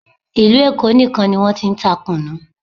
Ìlú Èkó nìkan ni wọ́n ti ń ta kùnnú